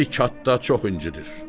Bizi kənddə çox incidir.